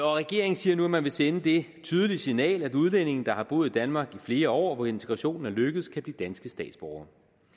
regeringen siger nu at man vil sende det tydelige signal at udlændinge der har boet i danmark i flere år og hvor integrationen er lykkedes kan blive danske statsborgere